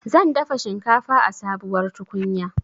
Zan dafa shinkafa a sabuwar tukunya